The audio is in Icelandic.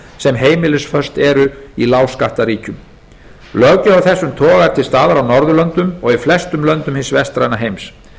sem heimilisföst eru í lágskattaríkjum löggjöf af þessum toga er til staðar á norðurlöndunum og í flestum löndum hins vestræna heims